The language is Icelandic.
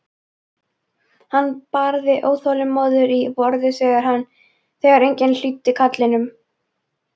Hann barði óþolinmóður í borðið þegar enginn hlýddi kallinu.